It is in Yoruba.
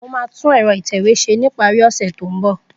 Mo maà tun ẹ̀rọ ìtẹ̀wé se tókàn ìparí.